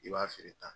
I b'a feere tan